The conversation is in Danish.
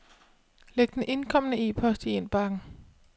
Læg den indkomne e-post i indbakken.